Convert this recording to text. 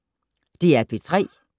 DR P3